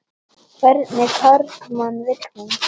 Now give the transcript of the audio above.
En hvernig karlmann vil hún?